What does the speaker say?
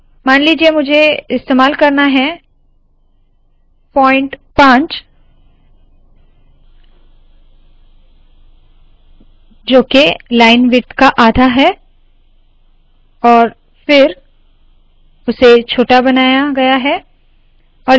मान लीजिए मुझे इस्तेमाल करना है पॉइंट 5 जो है लाइन विड्थ का आधा और फिर उसे छोटा बनाया गया है